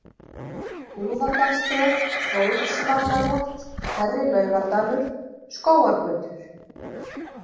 Búðardalsdrög, Hrólfsvallarétt, Hærri-Laugardalur, Skógargötur